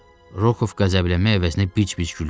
Rokov qəzəblənmək əvəzinə bic-bic gülürdü.